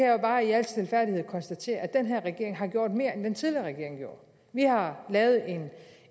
jo bare i al stilfærdighed konstatere at den her regering har gjort mere end den tidligere regering gjorde vi har lavet